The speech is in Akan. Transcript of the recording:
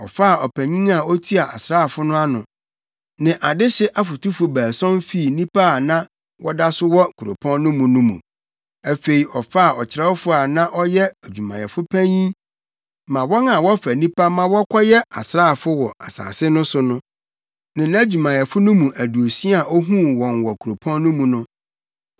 Ɔfaa ɔpanyin a otua asraafo no ano, ne adehye afotufo baason fii nnipa a na wɔda so wɔ kuropɔn no mu no mu. Afei ɔfaa ɔkyerɛwfo a na ɔyɛ adwumayɛfo panyin ma wɔn a wɔfa nnipa ma wɔkɔyɛ asraafo wɔ asase no so, ne nʼadwumayɛfo no mu aduosia a ohuu wɔn wɔ kuropɔn no mu no.